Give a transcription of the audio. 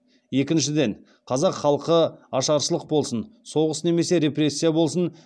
екіншіден қазақ халқы ашаршылық болсын соғыс немесе репрессия болсын